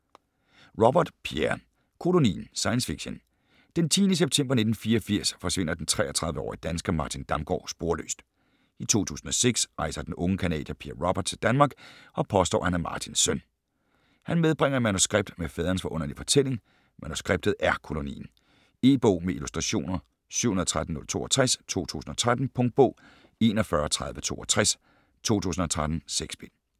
Robert, Pierre: Kolonien Science fiction. Den 10. september 1984 forsvinder den 33-årige dansker Martin Damgaard sporløst. I 2006 rejser den unge canadier Pierre Robert til Danmark og påstår at han er Martins søn. Han medbringer et manuskript med faderens forunderlige fortælling. Manuskriptet er Kolonien. E-bog med illustrationer 713062 2013. Punktbog 413062 2013. 6 bind.